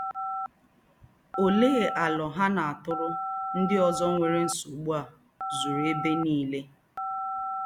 òléé áló há nà-átụ́rụ́ ndí́ ózó nwéré nsógbu à zùrù èbé nílé?